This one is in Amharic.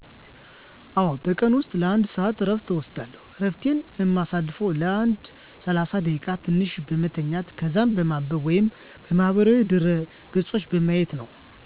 አወ በቀን ውስጥ ለ 1 ሰአት እረፍት እወስዳለሁ። እረፍቴን እማሳልፈውም ለ ሰላሳ ደቂቃ ትንሽ በመተኛት ከዛም በማንበብ ወይም ማህበራዊ ድረ ገፆችን በማየት ነው።